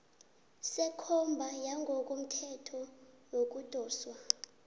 sekomba yangokothetho yokudoswa